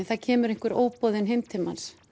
það kemur einhver óboðinn heim til manns